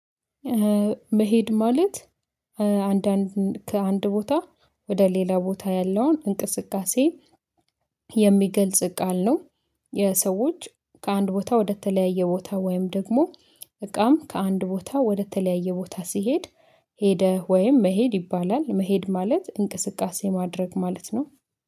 መሄድ ማለት አንዳንድ ከአንድ ቦታ ወደ ሌላ ቦታ ያለውን እንቅስቃሴ የሚገልጽ ቃል ነው። የሰዎች ከአንድ ቦታ ወደተለያየ ቦታ ወይም ደግሞ እቃም ከአንድ ቦታ ወደተለያየ ቦታ ሲሄድ ሄደ ወይም መሄድ ይባላል። መሄድ ማለት እንቅስቃሴ ማድረግ ማለት ነው።